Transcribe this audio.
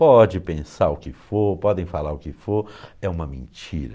Pode pensar o que for, podem falar o que for, é uma mentira.